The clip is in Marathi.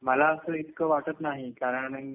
मला असं इतकं वाटत नाही कारण